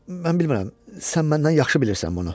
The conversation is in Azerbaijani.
Mən bilmirəm, sən məndən yaxşı bilirsən bunu.